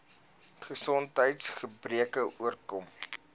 gesondheids gebreke oorkom